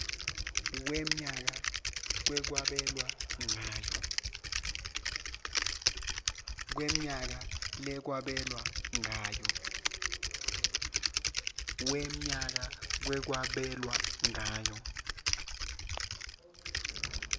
wemnyaka kwabelwa ngayo